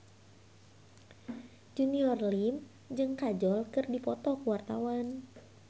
Junior Liem jeung Kajol keur dipoto ku wartawan